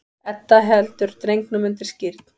Edda heldur drengnum undir skírn.